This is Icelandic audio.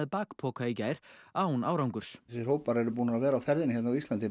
bakpoka í gær án árangurs þessir hópar eru búnir að vera á ferðinni hér á Íslandi